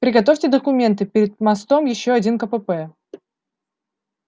приготовьте документы перед мостом ещё один кпп